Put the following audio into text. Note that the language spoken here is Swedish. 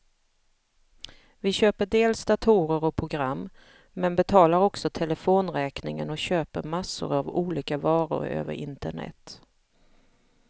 Vi köper dels datorer och program, men betalar också telefonräkningen och köper massor av olika varor över internet.